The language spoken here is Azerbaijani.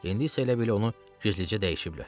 İndi isə elə bil onu gizlicə dəyişiblər.